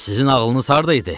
Sizin ağlınız harda idi?